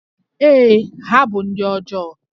Ee, ha bụ ndị ọjọọ